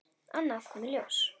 Annað kom í ljós.